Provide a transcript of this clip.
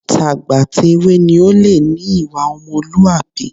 Tàgbàtèwe ni ó lè ní ìwà ọmọlúwàbí